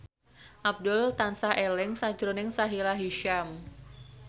Abdul tansah eling sakjroning Sahila Hisyam